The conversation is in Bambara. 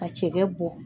Ka cɛkɛ bɔ